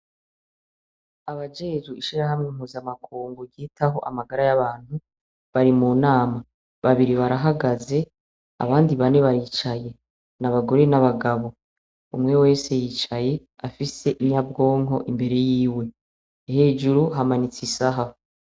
Abajejwe ishirahamwe mpuzamakungu ryitaho amagara y'abantu bari mu nama. Babiri barahagaze abandi bane baricaye, ni abagore n'abagabo. Umwe wese yicaye afise inyabwonko imbere yiwe, hejuru hamanitse isaha.